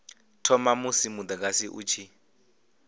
thoma musi mudagasi u tshi